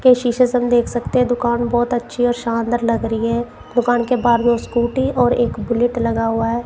के शोशे से हम देख सकते हैं दुकान बहोत अच्छी और शानदार लग रही है दुकान के बाहर दो स्कूटी और एक बुलेट लगा हुआ हैं।